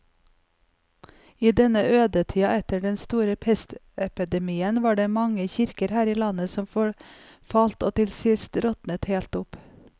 I denne ødetida etter den store pestepidemien var det mange kirker her i landet som forfalt og til sist råtnet helt opp.